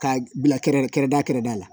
K'a bila kɛrɛda kɛrɛda kɛrɛda la